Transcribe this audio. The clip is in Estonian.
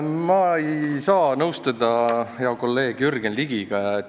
Ma ei saa nõustuda hea kolleegi Jürgen Ligiga.